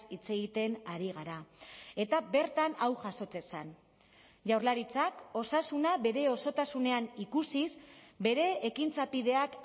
hitz egiten ari gara eta bertan hau jasotzen zen jaurlaritzak osasuna bere osotasunean ikusiz bere ekintza bideak